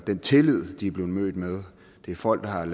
den tillid de er blevet mødt med det er folk der har